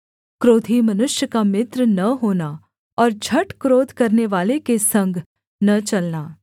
क्रोधी मनुष्य का मित्र न होना और झट क्रोध करनेवाले के संग न चलना